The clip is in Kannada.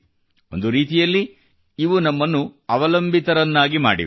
ಒಂದು ರೀತಿಯಲ್ಲಿ ನಮ್ಮನ್ನು ಅವಲಂಬಿತರನ್ನಾಗಿ ಮಾಡಿವೆ